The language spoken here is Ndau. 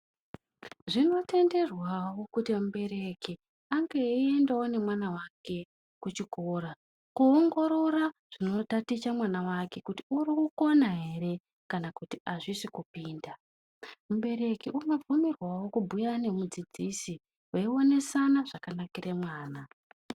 Zvinotenderwawo kuti mubereki ange eiendawo nemwana wake kuchikora koongorora zvinotaticha mwana wake kuti uri kukona ere kana kuti hazvisi kupinda. Mubereki unobvumirwawo kubhuya nemudzidzisi veionesana zvakanakire mwana.